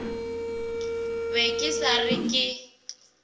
be ke sa re ke